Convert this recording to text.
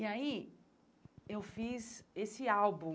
E aí eu fiz esse álbum,